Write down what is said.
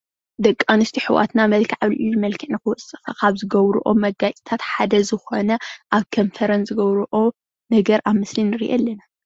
ደቂ ኣነስትዮ ኣሕዋትና መልክዕ ኣብሊዕሊ መልክዕ ንክወፅእ ካብ ዝገብረኦ መጋየፅታት ሓደ ዝኮነ ኣብ ከንፈረን ዝገብረኦ ነገር ኣብ ምስሊ ንርኢ ኣለና፡፡